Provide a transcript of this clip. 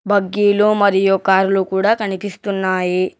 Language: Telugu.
భగీలు మరియు కార్లు కూడ కనిపిస్తున్నాయి.